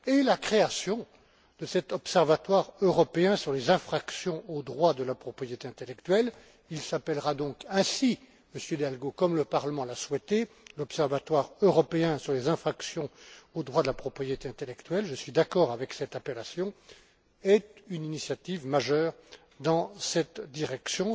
La création de cet Observatoire européen sur les infractions aux droits de la propriété intellectuelle il s'appellera donc ainsi, Monsieur Hidalgo, comme le Parlement l'a souhaité, l'Observatoire européen sur les infractions aux droits de la propriété intellectuelle, je suis d'accord avec cette appellation est une initiative majeure dans cette direction.